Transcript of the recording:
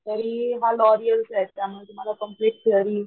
तरी हा लॉरिअलचा त्या मुळे तुम्हाला कंप्लेंट थेरी